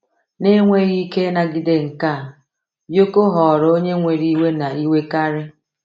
Na enweghị ike ịnagide nke a, Yoko ghọrọ onye nwere iwe na iwekarị.